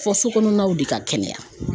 Fɔ sokɔnɔnaw de ka kɛnɛya.